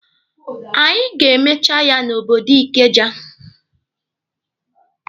Anyị ga-emecha ya na obodo Ikeja.